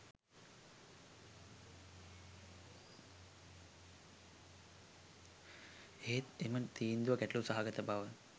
එහෙත් එම තීන්දුව ගැටළු සහගත බව